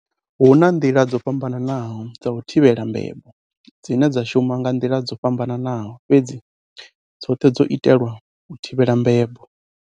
Hu na nḓila dzo fham-banaho dza u thivhela mbebo dzine dza shuma nga nḓila dzo fhambanaho, fhedzi dzoṱhe dzo itelwa u thivhela mbebo.